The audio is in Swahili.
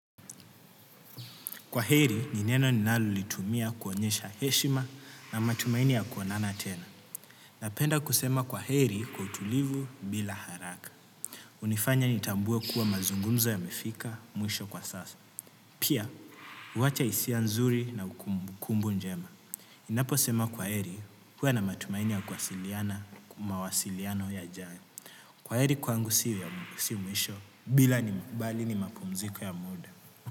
Kwa heri, ni neno ninalo litumia kuonyesha heshima na matumaini ya kuonana tena. Napenda kusema kwa heri kwa utulivu bila haraka. Hunifanya nitambue kuwa mazungumzo yamefika mwisho kwa sasa. Pia, huwacha hisia nzuri na kumbukumbu njema. Ninapo sema kwaheri, huwa na matumaini ya kuwasiliana, mawasiliano yajayo. Kwaheri kwangu si mwisho bali ni mapumziko ya muda.